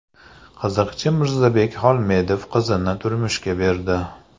Qiziqchi Mirzabek Xolmedov qizini turmushga berdi .